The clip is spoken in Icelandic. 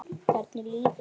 Hvernig líður honum?